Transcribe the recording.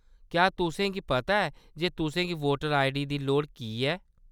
क्या तुसें गी पता ऐ जे तुसें गी वोटर आईडी दी लोड़ की ऐ ?